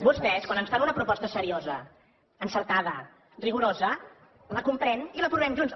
vostès quan ens fan una proposta seriosa encertada rigorosa la comprem i l’aprovem junts